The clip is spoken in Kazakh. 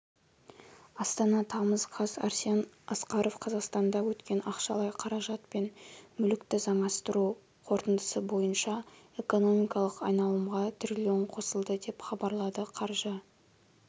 астана тамыз қаз арсен асқаров қазақстанда өткен ақшалай қаражат пен мүлікті заңастыру қорытындысы бойынша экономикалық айналымға трлн қосылды деп хабарлады қаржы